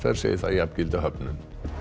segir það jafngilda höfnun